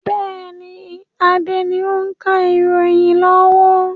Bẹ́ẹ̀ni, Adé ni o ń ka ìròyìn lọ́wọ́.